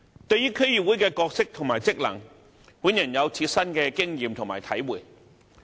對於區議會的角色及職能，本人有切身的經驗和體會。